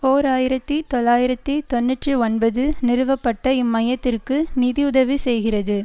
ஓர் ஆயிரத்தி தொள்ளாயிரத்தி தொன்னூற்றி ஒன்பது நிறுவப்பட்ட இம்மையத்திற்கு நிதியுதவி செய்கிறது